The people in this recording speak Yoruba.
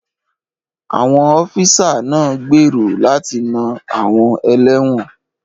Àwọn ọ́físà náà ń gbèrò láti na àwọn ẹlẹ́wọ̀n